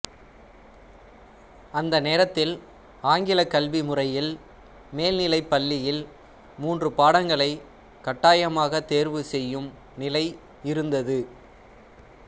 அந்த நேரத்தில் ஆங்கில கல்வி முறையில் மேல்நிலை பள்ளியில் மூன்று பாடங்களைக் கட்டாயமாகத் தெர்வு செய்யும் நிலை இருந்தது